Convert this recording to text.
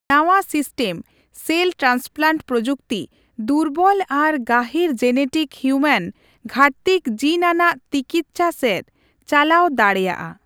ᱱᱟᱣᱟ system cell transplant ᱯᱨᱚᱡᱩᱠᱛᱤ ᱫᱩᱨᱵᱚᱞ ᱟᱨ ᱜᱟᱹᱦᱤᱨ ᱡᱮᱱᱮᱴᱤᱠ ᱦᱤᱭᱩᱢᱮᱱ ᱜᱷᱟᱹᱴᱛᱤᱠᱚ ᱡᱤᱱ ᱟᱱᱟᱜ ᱛᱤᱠᱤᱪᱪᱷᱟ ᱥᱮᱫ ᱪᱟᱞᱟᱣ ᱫᱲᱮᱭᱟᱜᱼᱟ ᱾